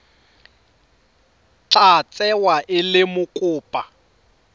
tla tsewa e le mokopa